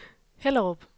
Hellerup